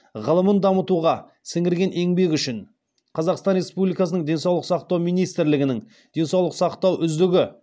ғылымын дамытуға сіңірген еңбегі үшін қазақстан республикасының денсаулық сақтау министрлігінің денсаулық сақтау үздігі